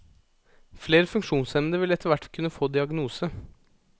Flere funksjonshemmede vil etterhvert kunne få diagnose.